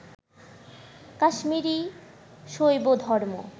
Kashmiri শৈবধর্ম